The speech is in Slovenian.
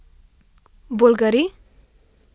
Bolgari?